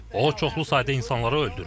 O çoxlu sayda insanları öldürür.